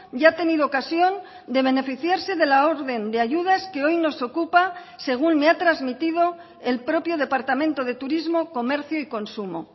ya ha tenido ocasión de beneficiarse de la orden de ayudas que hoy nos ocupa según me ha trasmitido el propio departamento de turismo comercio y consumo